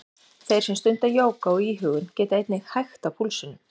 Þeir sem stunda jóga og íhugun geta einnig hægt á púlsinum.